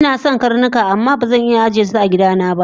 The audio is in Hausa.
Inason karnuka amma bazan iya ajesu agidana ba